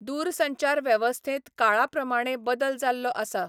दूरसंचार वेवस्थेंत काळा प्रमाणें बदल जाल्लो आसा.